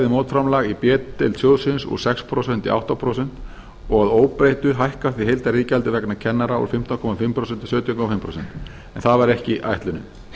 mótframlag í b deild sjóðsins úr sex prósent í átta prósent að óbreyttu hækkar því heildariðgjaldið vegna kennara úr fimmtán og hálft prósent í sautján komma fimm prósent en það var ekki ætlunin